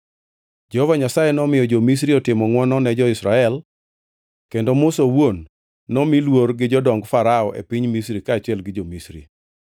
(Jehova Nyasaye nomiyo jo-Misri otimo ngʼwono ne jo-Israel, kendo Musa owuon nomi luor gi jodong Farao e piny Misri kaachiel gi jo-Misri.)